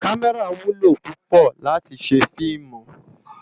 Kàmèrá wúlò púpò láti sé filmú